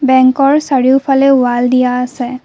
বেংকৰ চাৰিওফালে ওৱাল দিয়া আছে।